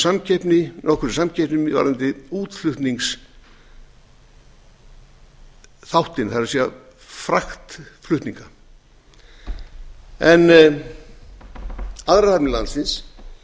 reykjavíkurhöfn og hafnarfjarðarhöfn þær hafa verið í nokkurri samkeppni varðandi útflutningsþáttinn það er fraktflutninga aðrar hafnir landsins